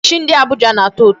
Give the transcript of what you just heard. Kilishi ndị Abuja na-atọ ụtọ.